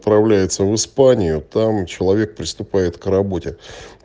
отправляется в испанию там человек приступает к работе